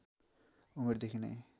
उमेरदेखि नै